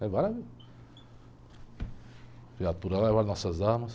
Levaram a viatura, levaram nossas armas.